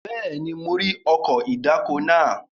Bẹ́ẹ̀ni, mo rí ọkọ̀ ìdáko náà.